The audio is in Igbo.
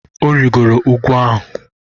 Ọ rịrị úgwù ahụ.